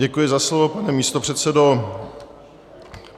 Děkuji za slovo, pane místopředsedo.